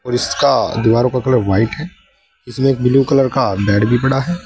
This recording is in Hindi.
और इसका दीवारों का कलर व्हाइट है उसमें एक ब्लू कलर का बेड भी पड़ा है।